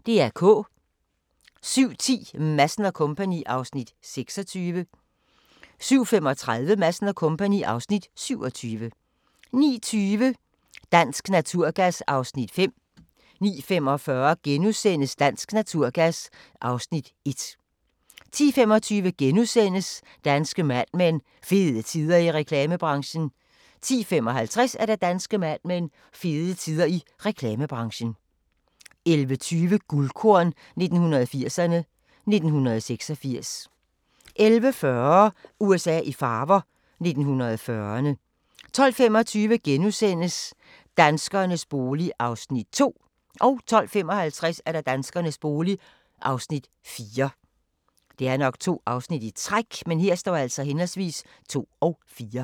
07:10: Madsen & Co. (Afs. 26) 07:35: Madsen & Co. (Afs. 27) 09:20: Dansk Naturgas (Afs. 5) 09:45: Dansk Naturgas (Afs. 1)* 10:25: Danske Mad Men: Fede tider i reklamebranchen * 10:55: Danske Mad Men: Fede tider i reklamebranchen 11:20: Guldkorn 1980'erne: 1986 11:40: USA i farver – 1940'erne 12:25: Danskernes bolig (Afs. 2)* 12:55: Danskernes bolig (Afs. 4)